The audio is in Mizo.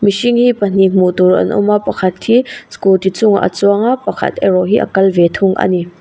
hring hi pahnih hmuh tur an awma pakhat hi scooty chungah a chuanga pakhat erawh hi a kal ve thung ani.